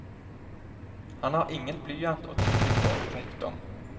Han har ingen blyant å tygge på. punktum